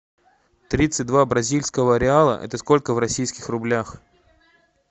тридцать два бразильского реала это сколько в российских рублях